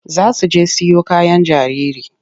Za su je siyo kayan jariri.